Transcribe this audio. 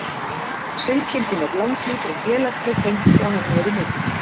Sauðkindin er langlíf og félagsleg tengsl hjá henni eru mikil.